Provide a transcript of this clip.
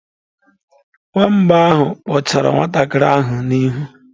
Nwamba ahụ kpụchara nwantakịrị ahụ n'ihu.